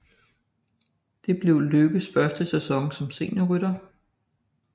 Det blev Lykkes første sæson som seniorrytter